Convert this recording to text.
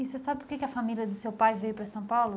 E você sabe por que que a família do seu pai veio para São Paulo?